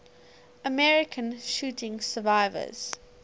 american shooting survivors